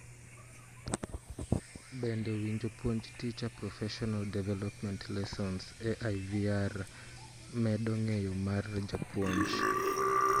bende winjopuonj teacher proffesional development lessons e IVR medo ng'eyo mar japounj?